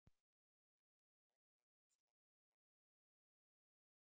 Unnið við mótauppslátt í norðurenda.